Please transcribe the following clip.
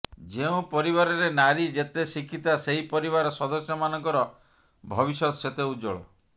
ଯେଉଁ ପରିବାରରେ ନାରୀ ଯେତେ ଶିକ୍ଷିତା ସେହି ପରିବାର ସଦସ୍ୟମାନଙ୍କର ଭବିଷ୍ୟତ ସେତେ ଉଜ୍ୱଳ